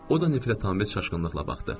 O da nifrətamiz çaşqınlıqla baxdı.